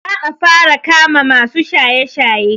Za a fara kama masu shaye-shaye.